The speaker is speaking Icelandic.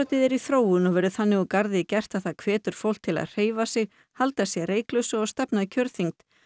er í þróun og verður þannig úr garði gert að það hvetur fólk til að hreyfa sig halda sér reyklausu og stefna að kjörþyngd